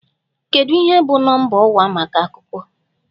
Kedu ihe bụ Nọmba ọwa maka Akụkọ?